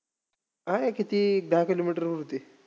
आहे किती दहा kilometer होती.